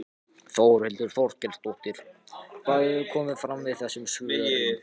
Þórhildur Þorkelsdóttir: Hvað hefur komið fram við þessum svörum?